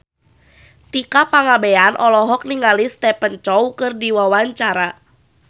Tika Pangabean olohok ningali Stephen Chow keur diwawancara